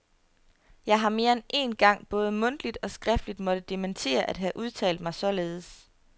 Jeg har mere end én gang både mundtligt og skriftligt måtte dementere at have udtalt mig således.